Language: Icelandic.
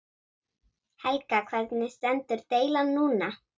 Helga: Hvernig stendur deilan núna?